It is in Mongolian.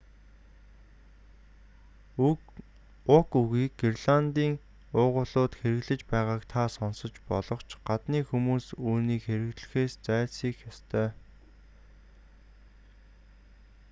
уг үгийг греландын уугуулууд хэрэглэж байгааг та сонсож болох ч гадны хүмүүс үүнийг хэрэглэхээс зайлсхийх ёстой